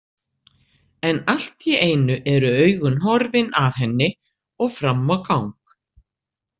En allt í einu eru augun horfin af henni og fram á gang.